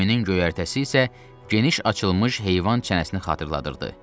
Gəminin göyərtəsi isə geniş açılmış heyvan çənəsini xatırladırdı.